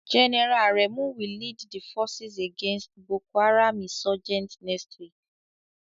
General Aremu will lead the forces against Boko Haram insurgents next week.